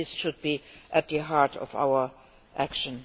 this should be at the heart of our action.